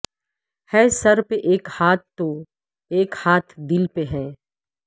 ہے سر پہ ایک ہاتھ تو اک ہاتھ دل پہ ہے